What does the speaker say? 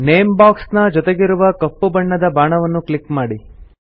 name box ನ ಜೊತೆಗಿರುವ ಕಪ್ಪು ಬಣ್ಣದ ಬಾಣವನ್ನು ಕ್ಲಿಕ್ ಮಾಡಿ